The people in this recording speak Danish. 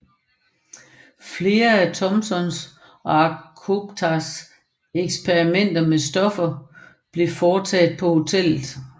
Flere af Thomsons og Acostas eksperimenter med stoffer blev foretaget på hotellet